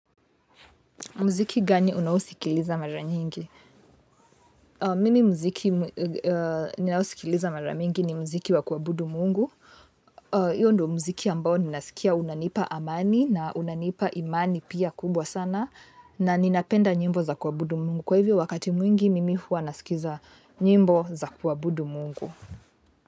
Mkizi gani unaosikiliza mara nyingi mimi mziki ninaosikiliza mara mingi ni mziki wa kuabudu mungu hio ndio mziki ambao ninaskia unanipa amani na unanipa imani pia kubwa sana na ninapenda nyimbo za kuabudu mungu. Kwa hivyo wakati mwingi mimi huwa nasikiza nyimbo za kuabudu mungu.